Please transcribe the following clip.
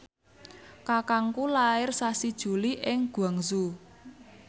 kakangku lair sasi Juli ing Guangzhou